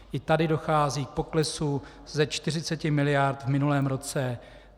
I tady dochází k poklesu ze 40 mld. v minulém roce.